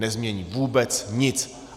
Nezmění vůbec nic.